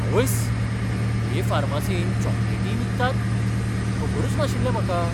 आवयस्स, हे फार्मासींत चॉकलेटीय विकतात? खबरच नाशिल्लें म्हाका!